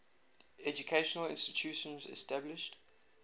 educational institutions established